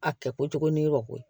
A kɛ kojugu ni yɔrɔ ko ye